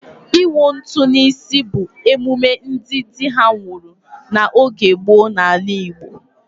Ịwụ ntụ n'isi bụ emume ndị dị ha nwụrụ n'oge gboo n'ala Igbo.